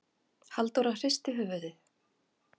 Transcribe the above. Halldóra hristi höfuðið.